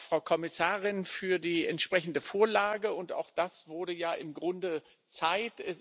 Frau Kommissarin, vielen Dank für die entsprechende Vorlage. Auch das wurde ja im Grunde Zeit.